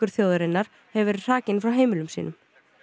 þjóðarinnar hefur verið hrakinn frá heimilum sínum